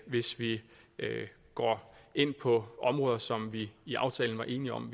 hvis vi går ind på områder som vi i aftalen var enige om